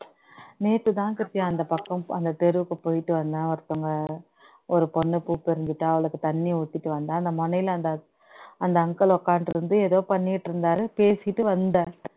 நேத்து தான் சத்தியா அந்த பக்கம் அந்த தெருவுக்கு போயிட்டு வந்தேன் ஒருத்தவங்க ஒரு பொண்ண கூட்டிட்டு வந்துட்டா அவளுக்கு தண்ணி ஊத்திட்டு வந்து அந்த முனையில அந்த uncle உட்கார்ந்துட்டு இருந்து ஏதோ பண்ணிட்டு இருந்தாரு பேசிட்டு வந்தாரு